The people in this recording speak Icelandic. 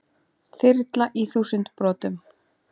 Þyrla í þúsund brotum